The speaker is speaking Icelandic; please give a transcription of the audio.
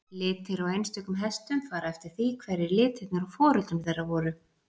litir á einstökum hestum fara eftir því hverjir litirnir á foreldrum þeirra voru